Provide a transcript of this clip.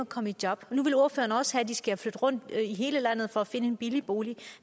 komme i job og nu vil ordføreren også have at de skal flytte rundt i hele landet for at finde en billig bolig